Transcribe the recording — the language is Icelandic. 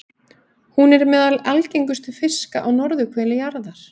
Hún er meðal algengustu fiska á norðurhveli jarðar.